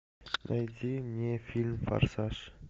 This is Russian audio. найди мне фильм форсаж